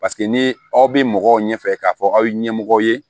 Paseke ni aw bɛ mɔgɔw ɲɛ fɛ k'a fɔ aw ye ɲɛmɔgɔ ye